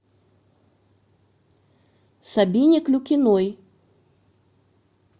сабине клюкиной